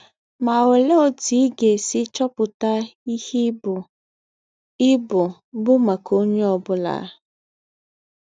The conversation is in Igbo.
Ma olee otu ị ga-esi chọpụta ihe ibu ibu bụ maka onye ọ bụla?